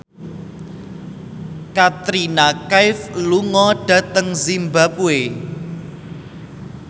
Katrina Kaif lunga dhateng zimbabwe